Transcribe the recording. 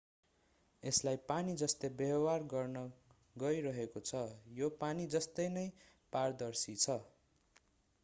यसलाई पानी जस्तै व्यवहार गर्न गइरहेको छ यो पानी जस्तै नै पारदर्शी छ